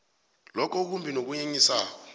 lokho okumbi nokunyenyisako